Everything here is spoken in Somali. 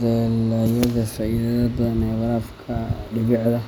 Dalayada faa’iidada badan ee warabka dhibicda